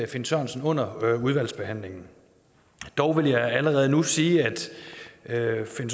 finn sørensen under udvalgsbehandlingen dog vil jeg allerede nu sige at finn